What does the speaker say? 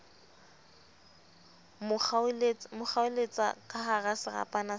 mo kgaoletsa kahara serapa sa